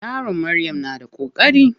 Yaron Maryam na da koƙari.